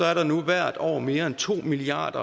er der nu hvert år mere end to milliard